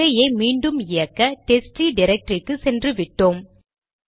அதையே மீண்டும் இயக்க டெஸ்ட்ட்ரீ டிரக்டரிக்கு சென்றுவிட்டோம்